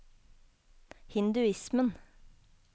hinduismen